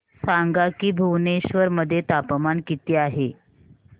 सांगा की भुवनेश्वर मध्ये तापमान किती आहे